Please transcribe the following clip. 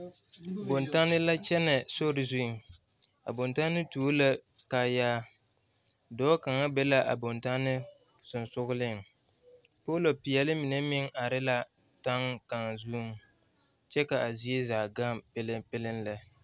Bontanne la kyɛnɛ sori zuŋ a bontanne tuo la kaayaa dɔɔ kaŋa be la a bontanne soŋsoŋleŋ poolo peɛle mine meŋ are la taŋ kaŋa zuŋ kyɛ ka a zie zaa gaŋ peleŋpeleŋ lɛ.